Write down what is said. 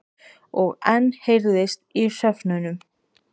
Og enn heyrðist í hröfnunum.